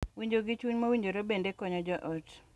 Winjo gi chuny mowinjore bende konyo jo ot